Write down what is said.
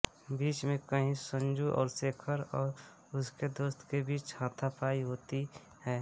बीच में कहीं संजू और शेखर और उसके दोस्तों के बीच हाथापाई होती है